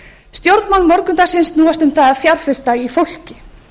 stjórnmál morgundagsins snúast um það að fjárfesta í fólki